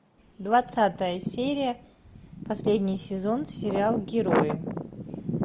двадцатая серия последний сезон сериал герои